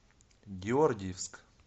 георгиевск